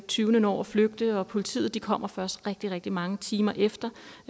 tyvene når at flygte og politiet kommer først rigtig rigtig mange timer efter